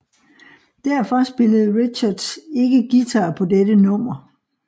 Derfor spillede Richards ikke guitar på dette nummer